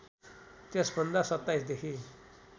त्यसभन्दा २७ देखि